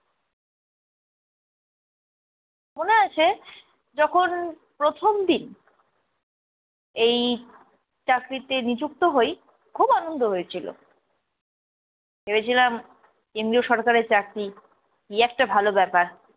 মনে আছে যখন প্রথম দিন এই চাকরিতে নিযুক্ত হই, খুব আনন্দ হয়েছিল। ভেবেছিলাম কেন্দ্রীয় সরকারের চাকরি, কি একটা ভালো ব্যাপার।